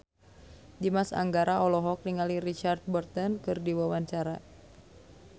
Dimas Anggara olohok ningali Richard Burton keur diwawancara